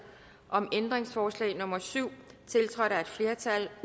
om ændringsforslag nummer syv tiltrådt af et flertal